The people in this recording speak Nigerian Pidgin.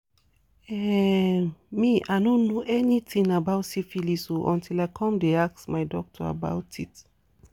um me i no know anything about syphilis o until i come the ask my doctor about it